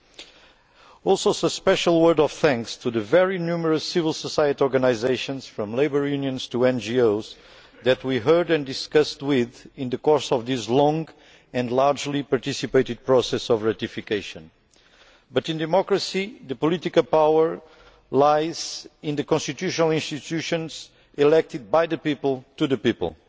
I would also like to give a special word of thanks to the very numerous civil society organisations, from labour unions to NGOs, that we heard and discussed with in the course of this long and widely participated process of ratification. But in democracy the political power lies in the constitutional institutions elected by the people for the people.